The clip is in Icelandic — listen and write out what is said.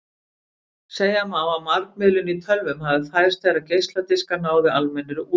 Segja má að margmiðlun í tölvum hafi fæðst þegar geisladiskar náðu almennri útbreiðslu.